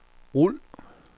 rul